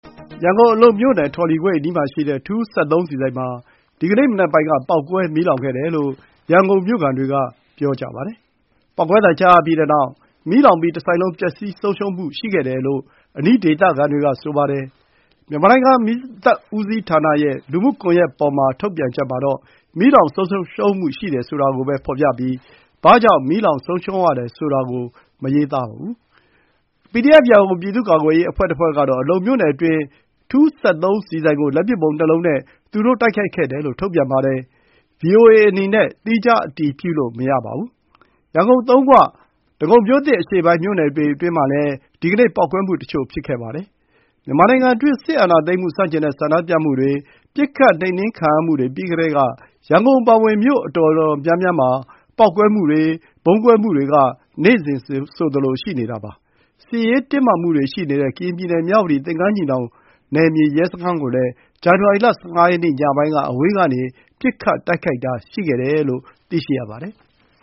ရန်ကုန် အလုံမြို့နယ် ထော်လီကွေ့အနီးမှာရှိတဲ့ ထူး စက်သုံးဆီဆိုင်မှာ ဒီကနေ့မနက်ပိုင်းက ပေါက်ကွဲမီးလောင်မှု ဖြစ်ခဲ့တယ်လို့ ရန်ကုန်မြို့ခံတွေက ပြောပါတယ်။ ပေါက်ကွဲသံ ကြားရပြီးနောက် မီးလောင်ပြီး တဆိုင်လုံး ပျက်စီးဆုံးရှုံးမှု ရှိခဲ့တယ်လို့ အနီးဒေသခံတွေက ပြောပါတယ်။ မြန်မာနိုင်ငံ မီးသတ်ဦးစီးဌာနရဲ့ လူမှုကွန်ရက်ပေါ် ထုတ်ပြန်ချက်မှာတော့ မီးလောင်ဆုံးရှုံးမှုရှိတယ် ဆိုတာကိုပဲ ဖော်ပြပြီး ဘာကြောင့် မီးလောင်ဆုံးရှုံးရတယ် ဆိုတာကို မရေးပါဘူး။ PDF ရန်ကုန်ပြည်သူ့ကာကွယ်ရေးအဖွဲ့ တဖွဲ့ကတော့ အလုံမြို့နယ်တွင်း ထူးစက်သုံးဆီဆိုင်ကို လက်ပစ်ဗုံးနှစ်လုံးနဲ့ သူတို့ တိုက်ခိုက်ခဲ့တယ်လို့ ထုတ်ပြန်ပါတယ်။ ဗွီအိုအေအနေနဲ့ သီးခြား အတည်ပြုလို့ မရပါဘူး။ ရန်ကုန် သုံးခွ၊ ဒဂုံမြို့သစ်အရှေ့ပိုင်း မြို့နယ်အတွင်းမှာလည်း ဒီကနေ့ ပေါက်ကွဲမှုတချို့ ဖြစ်ခဲ့ပါတယ်။ မြန်မာနိုင်ငံတွင်း စစ်အာဏာသိမ်းမှု ဆန့်ကျင်တဲ့ ဆန္ဒပြမှုတွေ ပစ်ခတ်နှိမ်နင်းခံရမှုတွေ ပြီးကတည်းက ရန်ကုန်အပါအဝင် မြို့အတော်များများမှာ ပေါက်ကွဲမှုတွေ၊ ဗုံးကွဲမှုတွေက နေ့စဉ်ဆိုသလို ရှိနေတာပါ။ စစ်ရေးတင်းမာမှုတွေ ရှိနေတဲ့ ကရင်ပြည်နယ် မြဝတီ သင်္ကန်းညီနောင် နယ်မြေရဲစခန်းကိုလည်း ဇန်နဝါရီလ ၁၅ ရက်နေ့ ညပိုင်းက အဝေးကနေ ပစ်ခတ်တိုက်ခိုက်မှု ရှိခဲ့တယ်လို့ သိရပါတယ်။